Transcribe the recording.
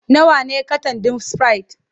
Nawa ne katan ɗin sprite?